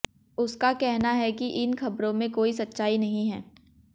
उसका कहना है कि इन खबरों में कोई सच्चाई नहीं है